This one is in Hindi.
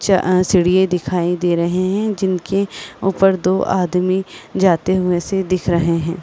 च अ सीढ़िए दिखाई दे रहे हैं जिनके ऊपर दो आदमी जाते हुए से दिख रहे हैं।